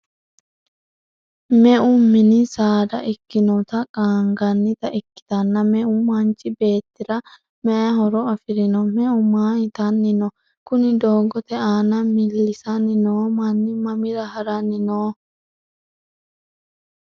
meu mini saada ikkinoti qaangannita ikkitanna, meu manchi beettira mayii horo afirino? meu maa itanni no? kuni doogote aana millisanni noo manni mamira haranni no?